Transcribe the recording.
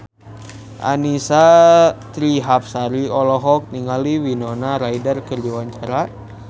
Annisa Trihapsari olohok ningali Winona Ryder keur diwawancara